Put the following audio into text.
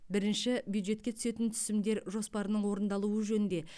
бірінші бюджетке түсетін түсімдер жоспарының орындалуы жөнінде